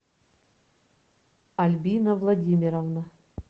альбина владимировна